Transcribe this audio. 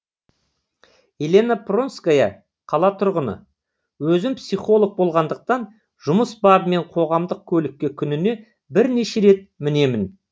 елена пронская қала тұрғыны өзім психолог болғандықтан жұмыс бабымен қоғамдық көлікке күніне бірнеше рет мінемін